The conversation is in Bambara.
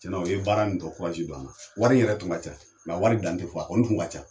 Tiɲɛna u ye baara nin tɔ don an na. Wari yɛrɛ tun ka ca, mɛ a wari dan tɛ fɔ a kɔni tun ka ca.